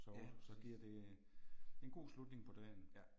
Ja. Ja